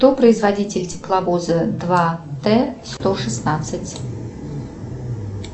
кто производитель тепловоза два т сто шестнадцать